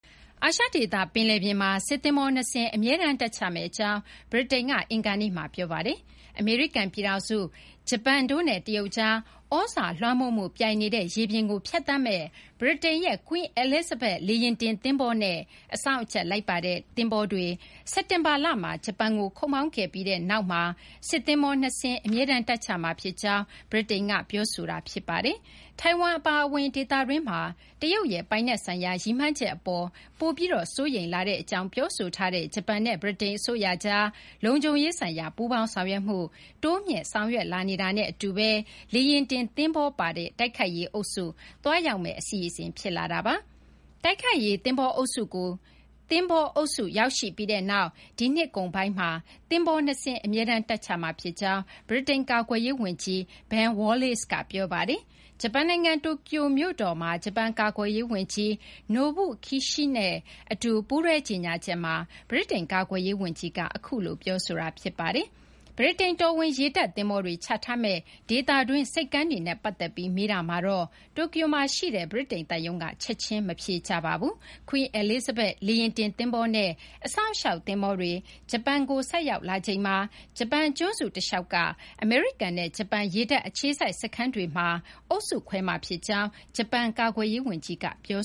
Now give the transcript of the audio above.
အာရှဒေသ ပင်လယ်ပြင်မှာ စစ်သဘောၤ နှစ်စင်း အမြဲတမ်း တပ်ချမယ့် အကြောင်း ဗြိတိန်က အင်္ဂါနေ့မှာ ပြောပါတယ်။ အမေရိကန် ပြည်ထောင်စု၊ ဂျပန်တို့နဲ့ တရုတ်ကြား သြဇာလွှမ်းမိုးမှု ပြိုင်နေတဲ့ ရေပြင်ကို ဖြတ်သန်းမယ့် ဗြိတိန်ရဲ့ Queen Elizabeth လေယာဉ်တင် သဘောၤနဲ့ အစောင့်အကြပ်လိုက်ပါတဲ့ သဘောၤတွေ စက်တင်ဘာလမှာ ဂျပန်ကို ခုတ်မောင်းခဲ့ပြီး နောက်မှာ စစ်သဘောၤ ၂ စင်း အမြဲတမ်း တပ်ချမှာ ဖြစ်ကြောင်း ဗြိတိန်က ပြောဆိုလိုက်တာပါ။ ထိုင်ဝမ် အပါအဝင် ဒေသတွင်းမှာ တရုတ်ရဲ့ ပိုင်နက် ဆိုင်ရာ ရည်မှန်းချက် အပေါ်မှာ ပိုပြီး စိုးရိမ်ကြောင်း ပြောဆိုထားတဲ့ ဂျပန် နဲ့ ဗြိတိန် အစိုးရကြား လုံခြုံရေးဆိုင်ရာ ပူးပေါင်းဆောင်ရွက်မှု တိုးမြှင့် ဆောင်ရွက်လာနေတာနဲ့ အတူဘဲ လေယာဉ်တင် သဘောၤပါ တိုက်ခိုက်ရေး အုပ်စု သွားရောက်မယ့် အစီအစဉ် ဖြစ်လာတာပါ။ တိုက်ခိုက်ရေး သဘောၤအုပ်စုကို ရောက်ရှိပြီးနောက် ဒီနှစ်ကုန်ပိုင်းမှာ သဘောၤ နှစ်စင်းကို အမြဲတမ်း တပ်ချထားမှာ ဖြစ်ကြောင်း ဗြိတိန် ကာကွယ်ရေး ဝန်ကြီး Ben Wallace က ပြောပါတယ်။ ဂျပန်နိုင်ငံ တိုကျိုမြို့တော်မှာ ဂျပန် ကာကွယ်ရေးဝန်ကြီး Nobuo Kishi နဲ့ အတူပူးတွဲကြေညာချက်မှာ ဗြိတိန် ကာကွယ်ရေး ဝန်ကြီးက အခုလို ပြောဆိုတာ ဖြစ်ပါတယ်။ ဗြိတိန် တော်ဝင် ရေတပ် သဘောၤတွေ ချထားမယ့် ဒေသတွင်း ဆိပ်ကမ်းတွေနဲ့ ပတ်သက်ပြီး မေးတာမှာတော့ တိုကျိုမှာရှိတဲ့ ဗြိတိန် သံရုံးက ချက်ချင်း မဖြေကြားသေးပါဘူး။ Queen Elizabeth လေယာဉ်တင် သဘောၤနဲ့ အစောင့်အရှောက် သဘောၤတွေ ဂျပန်ကို ဆိုက်ရောက်လာချိန်မှာ ဂျပန် ကျွန်းစု တလျှောက်က အမေရိကန်နဲ့ ဂျပန် ရေတပ် အခြေစိုက် စခန်းတွေမှာ အုပ်စုခွဲမှာ ဖြစ်ကြောင်း ဂျပန် ကာကွယ်ရေး ဝန်ကြီး Kishi က ပြော